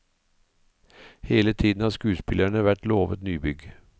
Hele tiden har skuespillerne vært lovet nybygg.